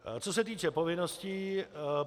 Co se týče povinností.